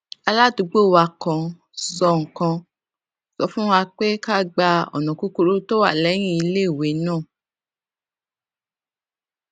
ó lo um ìṣẹjú márùnún láràárọ um láti jókòó láì fọhùn kí ó sì fi inú wòye